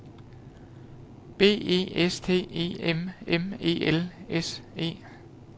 B E S T E M M E L S E